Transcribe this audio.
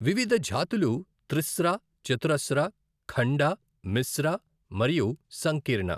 వివిధ జాతులు త్రిశ్ర, చతురశ్ర, ఖండ, మిశ్ర, మరియు సంకీర్ణ .